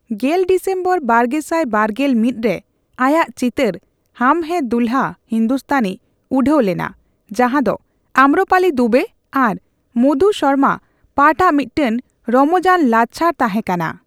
ᱜᱮᱞ ᱰᱤᱥᱮᱢᱵᱚᱨ ᱵᱟᱨᱜᱮᱥᱟᱭ ᱵᱟᱨᱜᱮᱞ ᱢᱤᱛ ᱨᱮ, ᱟᱭᱟᱜ ᱪᱤᱛᱟᱹᱨ ᱦᱟᱢ ᱦᱮᱭ ᱫᱩᱞᱦᱟ ᱦᱤᱱᱫᱩᱥᱛᱷᱟᱱᱤ ᱩᱰᱷᱟᱣ ᱞᱮᱱᱟ, ᱡᱟᱦᱟᱸ ᱫᱚ ᱟᱢᱢᱨᱚᱯᱟᱞᱤ ᱫᱩᱵᱮ ᱟᱨ ᱢᱚᱫᱷᱩ ᱥᱚᱨᱢᱟ ᱯᱟᱴᱷᱼᱟᱜ ᱢᱤᱫᱴᱟᱝ ᱨᱚᱢᱚᱡᱟᱱ ᱞᱟᱪᱷᱟᱲ ᱛᱟᱦᱮᱸ ᱠᱟᱱᱟ ᱾